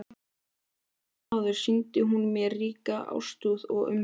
Einsog jafnan áður sýndi hún mér ríka ástúð og umhyggju.